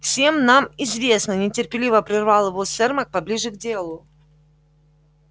всем это нам известно нетерпеливо прервал его сермак поближе к делу